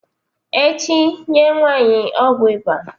echi nye nwanyi ogwu iba!